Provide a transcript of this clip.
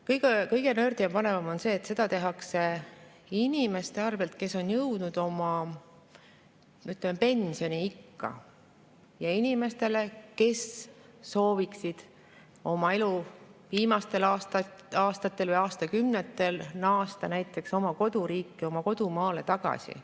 Kõige-kõige rohkem nördima panev on see, et seda tehakse inimeste arvelt, kes on jõudnud pensioniikka, inimestele arvelt, kes sooviksid oma elu viimastel aastatel või aastakümnetel naasta näiteks oma koduriiki, tulla kodumaale tagasi.